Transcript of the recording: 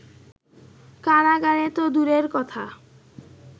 কারাগারে তো দূরের কথা